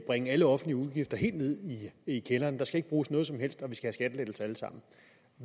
bringe alle offentlige udgifter helt ned i kælderen der skal ikke bruges noget som helst og vi skal have skattelettelser alle sammen